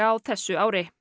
á þessu ári